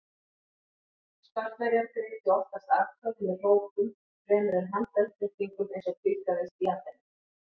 Spartverjar greiddu oftast atkvæði með hrópum fremur en með handauppréttingum eins og tíðkaðist í Aþenu.